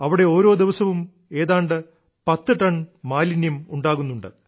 അവിടെ ഓരോ ദിവസവും ഏതാണ്ട് 10 ടൺ മാലിന്യം ഉണ്ടാകുന്നുണ്ട്